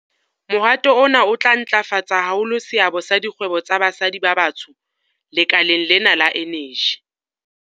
Mohato ona o tla ntlafatsa haholo seabo sa dikgwebo tsa basadi ba batsho lekaleng la eneji.